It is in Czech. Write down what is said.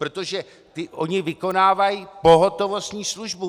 Protože oni vykonávají pohotovostní službu.